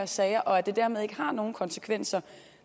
sager og at det dermed ikke har nogen konsekvenser